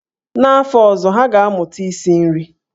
N'afọ ọzọ, ha ga-amụta isi nri.